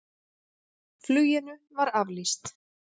Fluginu var aflýst.